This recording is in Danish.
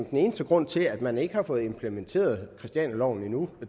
den eneste grund til at man ikke har fået implementeret christianialoven endnu